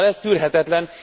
Szóval ez tűrhetetlen!